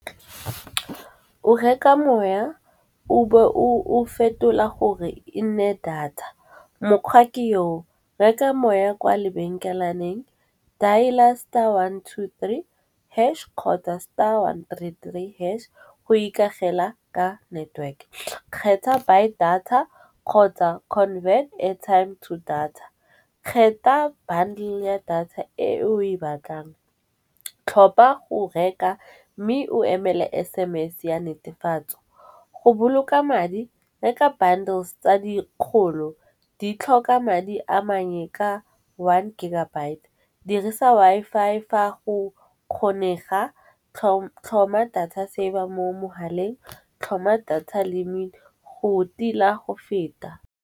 O reka moya o be o o fetola gore e nne data, mokgwa ke yo. Reka moya kwa lebenkelelaneng dial-a star one two three hash kgotsa star one three three hash, go ikagela ka network. Kgetha by data kgotsa convert airtime to data. Kgetha bundle ya data e o e batlang, tlhopha go reka mme o emele S_M_S ya netefatso. Go boloka madi reka bundles tsa dikgolo, di tlhoka madi a mannye ka one gigabyte dirisa Wi-Fi fa go kgonega, tlhoma data saver mo mogaleng, tlhoma data limit go tila go feta.